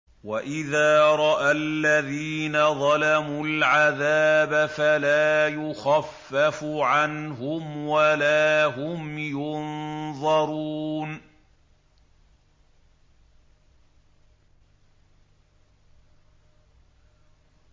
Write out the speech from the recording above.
وَإِذَا رَأَى الَّذِينَ ظَلَمُوا الْعَذَابَ فَلَا يُخَفَّفُ عَنْهُمْ وَلَا هُمْ يُنظَرُونَ